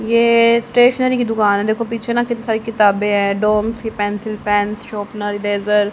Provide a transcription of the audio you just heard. ये स्टेशनरी की दुकान हैं देखो पीछे ना कितनी सारी किताबें हैं डोम्स की पेंसिल पेन शोपनर रेज़र --